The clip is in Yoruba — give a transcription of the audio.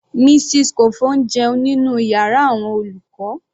Mrs Kofo ń jẹun nínú yàrá àwọn olùkọ́.